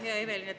Hea Evelin!